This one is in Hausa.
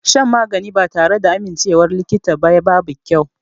Shan magani ba tare da amincewar likita ba babu kyau.